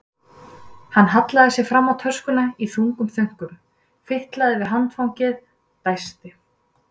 Hann hallaði sér fram á töskuna í þungum þönkum, fitlaði við handfangið, dæsti.